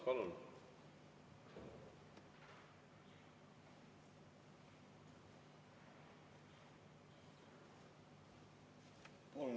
Palun!